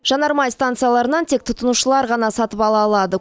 жанармай станцияларынан тек тұтынушылар ғана сатып ала алады